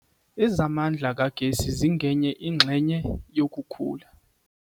Ezamandla kagesi zingenye ingxenye yokukhula.